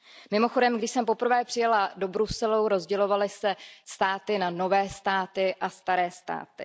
Mimochodem, když jsem poprvé přijela do Bruselu, rozdělovaly se státy na nové státy a staré státy.